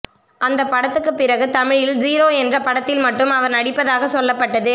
அந்தப்படத்துக்குப் பிறகு தமிழில் ஸீரோ என்ற படத்தில் மட்டும் அவர் நடிப்பதாகச் சொல்லப்பட்டது